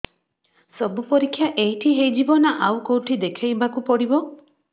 ସବୁ ପରୀକ୍ଷା ଏଇଠି ହେଇଯିବ ନା ଆଉ କଉଠି ଦେଖେଇ ବାକୁ ପଡ଼ିବ